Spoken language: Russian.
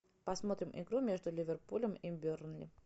посмотрим игру между ливерпулем и бернли